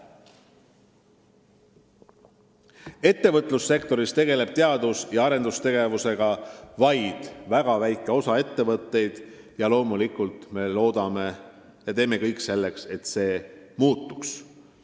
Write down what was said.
Ettevõtlussektoris tegeleb teadus- ja arendustegevusega vaid väga väike osa ettevõtteid ja loomulikult me teeme kõik selleks, et see muutuks.